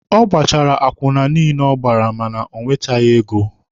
Ọ gbachara akwụna niile ọ gbara mana o nweteghi ego.